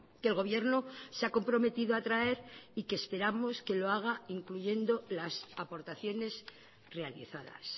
que el gobierno se ha comprometido a traer y que esperamos que lo haga incluyendo las aportaciones realizadas